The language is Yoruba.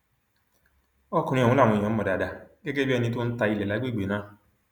ọkùnrin ọhún làwọn èèyàn mọ dáadáa gẹgẹ bíi ẹni tó ń ta ilé lágbègbè náà